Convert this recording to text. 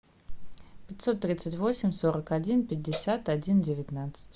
пятьсот тридцать восемь сорок один пятьдесят один девятнадцать